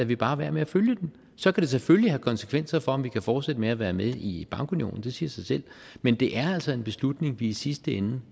vi bare være med at følge den så kan det selvfølgelig have konsekvenser for om vi kan fortsætte med at være med i bankunionen det siger sig selv men det er altså en beslutning vi i sidste ende